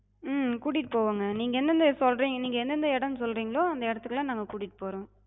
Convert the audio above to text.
ஹம் கூட்டிட்டு போவோங்க. நீங்க எந்த எந்தச் சொல்றிங்க, நீங்க எந்த எந்த இடம் சொல்றிங்களோ அந்த இடத்துக்கலா நாங்க கூட்டிட்டு போறோ.